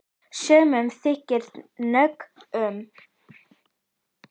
Sumum þykir nóg um.